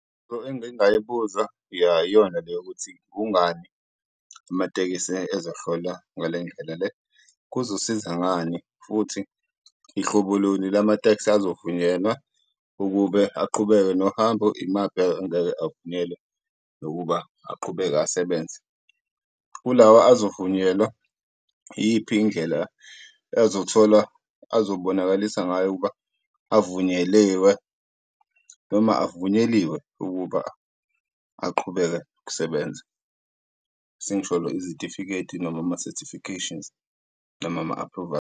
engingayibuza ya iyona le yokuthi kungani amatekisi ezokuhlola ngale ndlela le? Kuzosiza ngani futhi ihlobo luni lamateksi azovunyelwa ukube aqhubeke nohambo, imaphi angeke avunyelwe nokuba aqhubeke asebenze? Kulawa azovunyelwa, iyiphi indlela ezothola, azobonakalisa ngayo ukuba avunyeliwe noma avunyeliwe ukuba aqhubeke ukusebenza? Sengisholo izitifiketi noma ama-certifications, noma ama-aphruvali.